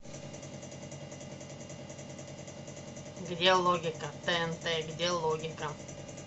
где логика тнт где логика